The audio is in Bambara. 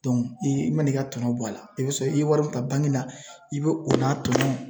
i man'i ka tɔnɔ bɔ a la i bɛ sɔrɔ i ye wari bila la i bɛ o n'a tɔnɔ